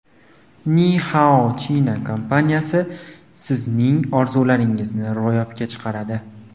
Ni Hao China kompaniyasi sizning orzularingizni ro‘yobga chiqaradi.